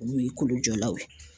Olu ye kolo jɔlaw ye.